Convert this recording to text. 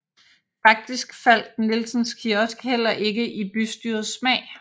Faktisk faldt Nielsens kiosk heller ikke i bystyrets smag